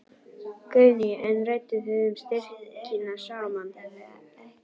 Guðný: En rædduð þið um styrkina saman?